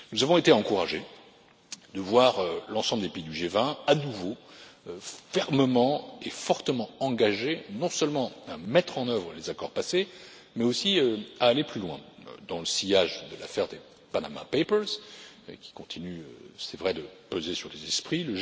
Nous avons été encouragés de voir l'ensemble des pays du G20 à nouveau fermement et fortement engagés non seulement à mettre en œuvre les accords passés, mais aussi à aller plus loin dans le sillage de l'affaire des Panama Papers qui continue, c'est vrai, de peser sur les esprits.